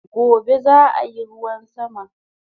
Gobe zaa yi ruwan sama